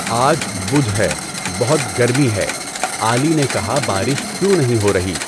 آج بدھ ہے، بہت گرمی ہے، عالی نے کہا بارش کیوں نہیں ہو رہی؟